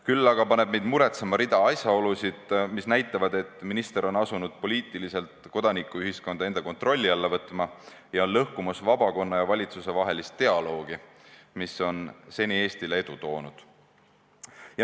Küll aga paneb meid muretsema rida asjaolusid, mis näitavad, et minister on asunud poliitiliselt kodanikuühiskonda enda kontrolli alla võtma ja on lõhkumas vabakonna ja valitsuse vahelist dialoogi, mis seni on Eestile edu toonud.